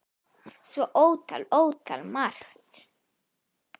Svo ótal, ótal margt.